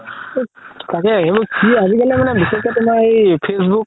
তাকেই সেইবোৰ আজিকালি মানে বিশেষকে তুমাৰ facebook